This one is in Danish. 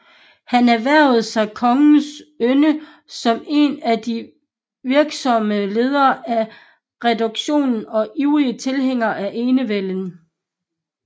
Han erhvervede sig kongens yndest som en af de virksomste ledere af reduktionen og ivrigste tilhængere af enevælden